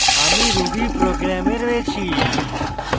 আমরা rubyprogram we রয়েছি